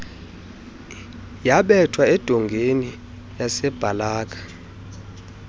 yabetha edongeni yasabalaka